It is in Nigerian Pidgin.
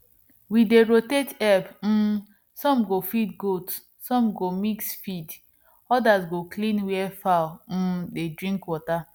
we dey rotate help um some go feed goat some go mix feed others go clean where fowl um dey drink water